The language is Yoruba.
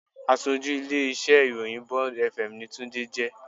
Aṣojú ilé-iṣẹ́ ìròyìn Bond fm ni Tunde jẹ́